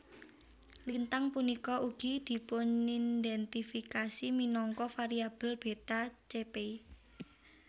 Lintang punika ugi dipunindhèntifikasi minangka variabel Beta Chepei